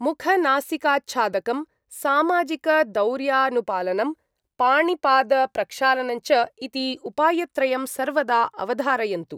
मुखनासिकाच्छादकं, सामाजिकदौर्यानुपालनं, पाणिपादप्रक्षालनञ्च इति उपायत्रयं सर्वदा अवधारयन्तु।